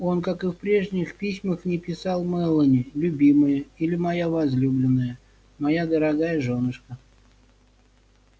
он как и в прежних письмах не писал мелани любимая или моя возлюбленная моя дорогая жёнушка